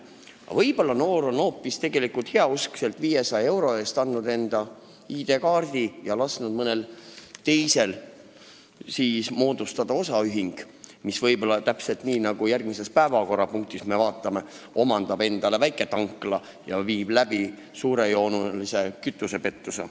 Aga võib-olla on ta hoopis heauskselt andnud kellelegi 500 euro eest enda ID-kaardi ja lasknud moodustada osaühingu, millega võib minna täpselt nii, nagu me järgmises päevakorrapunktis vaatame, et omandatakse väiketankla ja viiakse läbi suurejooneline kütusepettus.